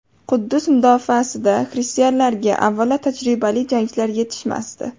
Quddus mudofaasidagi xristianlarga, avvalo, tajribali jangchilar yetishmasdi.